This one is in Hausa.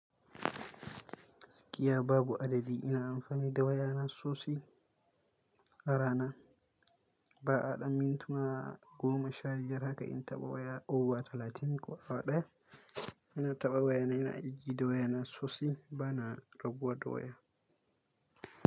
Gaskiya iya babu adadi ina amfani da waya na sosi. Ara na ba a ɗan mintuna goma sha diyara ka in taɓa waya, owuwa talatin ko a ɗaya. Ina taɓa waya na ina igiya waya na sosi bana raguwa da waya.